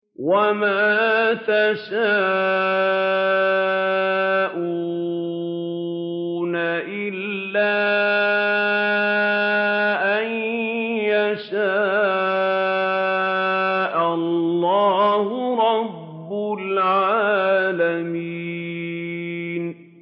وَمَا تَشَاءُونَ إِلَّا أَن يَشَاءَ اللَّهُ رَبُّ الْعَالَمِينَ